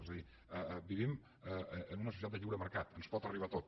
és a dir vivim en una societat de lliure mercat ens pot arribat tot